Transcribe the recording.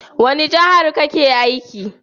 Wani jahar ka ke aiki?